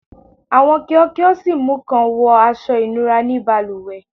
Awọn kio kio si mu kan wọ aṣọ ìnura ni balùwẹ